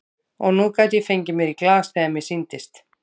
Og nú gat ég fengið mér í glas þegar mér sýndist.